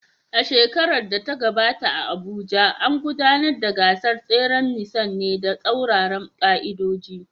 A shekarar da ta gabata a Abuja, an gudanar da gasar tseren nisan ne da tsauraran ƙa’idoji.